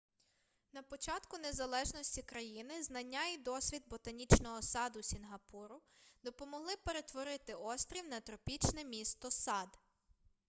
на початку незалежності країни знання і досвід ботанічного саду сінгапуру допомогли перетворити острів на тропічне місто-сад